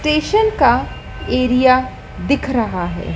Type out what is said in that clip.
Station का area दिख रहा है।